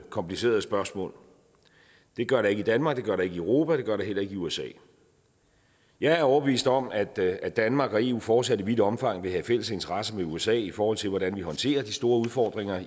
komplicerede spørgsmål det gør der ikke i danmark det gør der ikke i europa det gør der heller ikke i usa jeg er overbevist om at at danmark og eu fortsat i vidt omfang vil have fælles interesser med usa i forhold til hvordan vi håndterer de store udfordringer